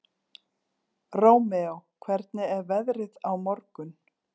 Rómeó, hvernig er veðrið á morgun?